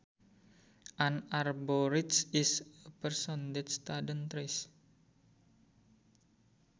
An arborist is a person that studies trees